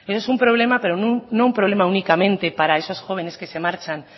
es un problema pero no un problema únicamente para esos jóvenes que se marchan